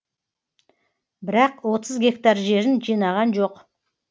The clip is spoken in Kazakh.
бірақ отыз гектар жерін жинаған жоқ